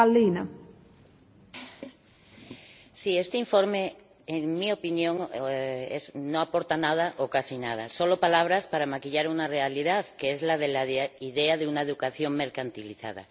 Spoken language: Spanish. Señora Presidenta, este informe, en mi opinión, no aporta nada o casi nada, solo palabras para maquillar una realidad, que es la de la idea de una educación mercantilizada.